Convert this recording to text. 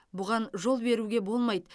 бұған жол беруге болмайды